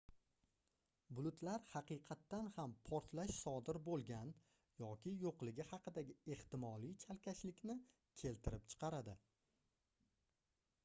bulutlar haqiqatan ham portlash sodir boʻlgan yoki yoʻligi haqidagi ehtimoliy chalkashlikni keltirib chiqardi